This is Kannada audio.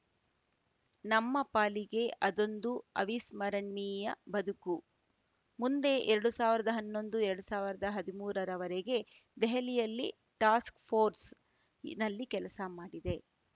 ನಮ್ಮ ಪಾಲಿಗೆ ಅದೊಂದು ಅವಿಸರಣ್ಮೀಯ ಬದುಕು ಮುಂದೆ ಎರಡು ಸಾವಿರದ ಹನ್ನೊಂದು ಎರಡು ಸಾವಿರದ ಹದಿಮೂರರವರೆಗೆ ದೆಹಲಿಯಲ್ಲಿ ಟಾಸ್ಕ್‌ಪೋರ್ಸ್‌ ಇ ನಲ್ಲಿ ಕೆಲಸ ಮಾಡಿದೆ